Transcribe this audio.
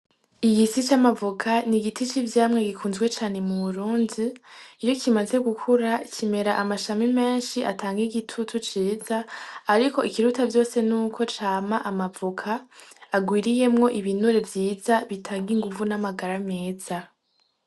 Igiti c'amavoka n'igiti c'ivyamwa bikunzwe cane mu Burundi iyo kimaze gukura kimera amashami menshi atanga igitutu ciza ariko ikiruta vyose nuko cama amavoka agwiriyemwo ibinure vyiza bitanga inguvu n'amagara meza.